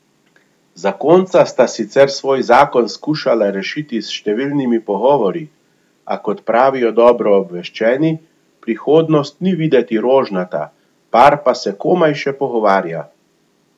Zakonca sta sicer svoj zakon skušala rešiti s številnimi pogovori, a, kot pravijo dobro obveščeni, prihodnost ni videti rožnata, par pa se komaj še pogovarja.